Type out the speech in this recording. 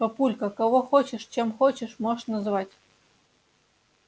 папулька кого хочешь чем хочешь можешь называть